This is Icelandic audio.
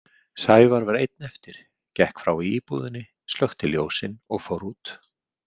Sævar var einn eftir, gekk frá í íbúðinni, slökkti ljósin og fór út.